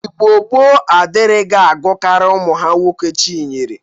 Igbo gboo adịrighị agụkarị ụmụ ha nwoke Chinyere.